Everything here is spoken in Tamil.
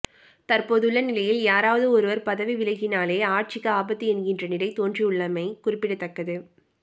தற்போதுள்ள நிலையில் யாராவது ஒருவர் பதவி விலகினாலே ஆட்சிக்கு ஆபத்து என்கின்ற நிலை தோன்றியுள்ளமை குறிப்பிடத்தக்கது